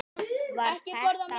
Var þetta brot?